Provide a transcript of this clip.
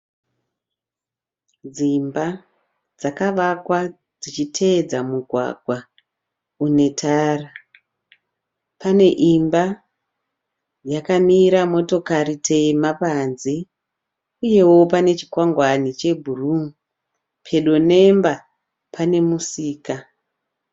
Dzimba dzakavakwa dzichitevedza migwagwa netara. Pane imba yakamira motekare tema panze, uyewo panechikwangwane chebhuru pedo nemba panemusika.